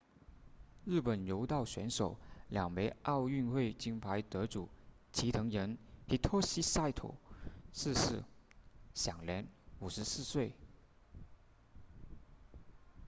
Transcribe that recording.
日本柔道选手两枚奥运会金牌得主齐藤仁 hitoshi saito 逝世享年54岁